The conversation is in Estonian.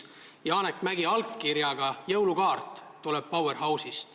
Powerhouse'ist tuli Janek Mäggi allkirjaga jõulukaart.